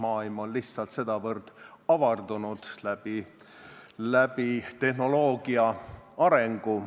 Maailmapilt on tänu tehnoloogia arengule lihtsalt sedavõrd avardunud.